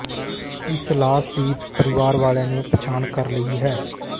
ਇਸ ਲਾਸ਼ ਦੀ ਪਰਿਵਾਰ ਵਾਲਿਆਂ ਨੇ ਪਛਾਣ ਕਰ ਲਈ ਹੈ